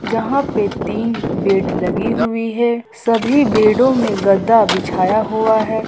जहां पर तीन बेड लगी हुई हैं सभी बेड में गद्दा बिछाया हुआ है।